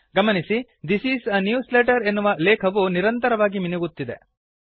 ಗಮನಿಸಿ this is a newsletter ಎನ್ನುವ ಲೇಖವು ನಿರಂತರವಾಗಿ ಮಿನುಗುತ್ತಿದೆ